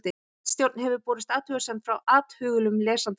Ritstjórn hefur borist athugasemd frá athugulum lesanda.